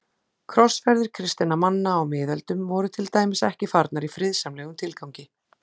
Krossferðir kristinna manna á miðöldum voru til dæmis ekki farnar í friðsamlegum tilgangi.